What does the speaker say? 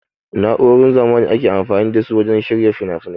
Na'urorin zamanin ake amfani da su wajen shirya finafinai.